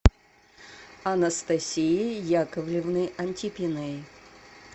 анастасии яковлевны антипиной